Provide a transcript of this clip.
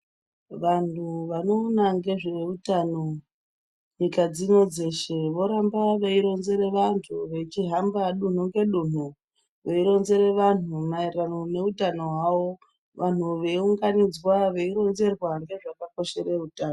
Vanhu vanoona ngezveutano nyika dzino dzeshe voramba veironzera vantu vachihamba dunhu ngedunhu veironzere vanhu maererano neutano hwavo vanhu veiunganidzwa veironzerwa ngezvakakoshere utano.